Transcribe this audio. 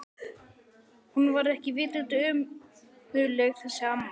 Hún var ekki vitund ömmuleg þessi amma.